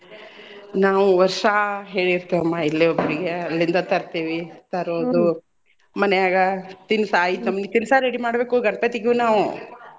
ನಾವು ವರ್ಷಾ ಹೇಳಿರ್ತೇವಮ್ಮ ಇಲ್ಲೇ ಒಬ್ಬರಿಗೆ ಅಲ್ಲಿಂದ ತರ್ತಿವಿ. ತರೋದು ಮನ್ಯಾಗ ತಿನ್ಸ ಆಯಿತಮ್ಮ ತಿನ್ಸ ready ಮಾಡ್ಬೇಕು ಗಣ್ಪತಿಗೂನು.